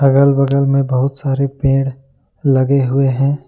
अगल बगल में बहुत सारे पेड़ लगे हुए हैं।